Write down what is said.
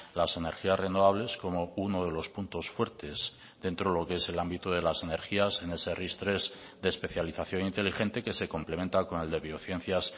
las energías renovables como uno de los puntos fuertes dentro de lo que es el ámbito de las energías en ese ris tres de especialización inteligente que se complementa con el de biociencias